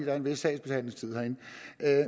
er en vis sagsbehandlingstid herinde